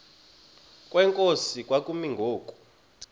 kwenkosi kwakumi ngoku